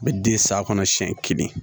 A bɛ den saya kɔnɔ siɲɛ kelen